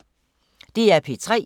DR P3